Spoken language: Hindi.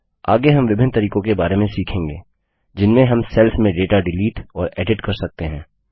आगे हम विभिन्न तरीकों के बारे में सीखेंगे जिनमें हम सेल्स में डेटा डिलीट और एडिट कर सकते हैं